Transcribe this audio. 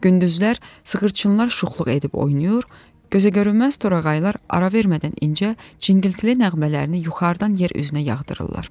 Gündüzlər sığırçınlar şuxluq edib oynayır, gözəgörünməz torağaylar ara vermədən incə, zingiltili nəğmələrini yuxarıdan yer üzünə yağdırırlar.